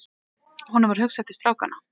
Honum varð hugsað til strákanna.